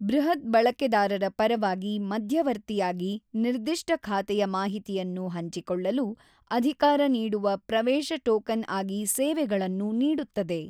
ಬೃಹತ್ ಬಳಕೆದಾರರ ಪರವಾಗಿ ಮಧ್ಯವರ್ತಿಯಾಗಿ ನಿರ್ದಿಷ್ಟ ಖಾತೆಯ ಮಾಹಿತಿಯನ್ನು ಹಂಚಿಕೊಳ್ಳಲು ಅಧಿಕಾರ ನೀಡುವ ಪ್ರವೇಶ ಟೋಕನ್ ಆಗಿ ಸೇವೆಗಳನ್ನು ನೀಡುತ್ತದೆ.